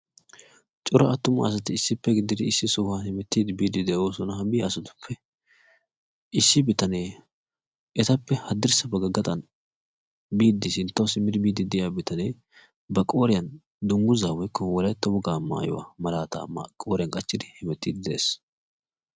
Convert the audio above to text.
cora attuma asati boosona. ha biya assstuppe bitanee issi bitanee hadirssa bagga gaxxan sinttawu simmidi biik diya bitanee ba qooriyan wolaytta wogaa mayuwa xaaxxidi biidi dees.